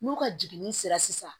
N'u ka jiginni sera sisan